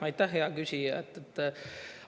Aitäh, hea küsija!